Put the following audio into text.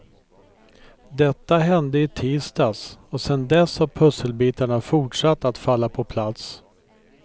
Detta hände i tisdags, och sen dess har pusselbitarna fortsatt att falla på plats.